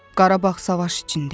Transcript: Qarabağ savaş içində idi.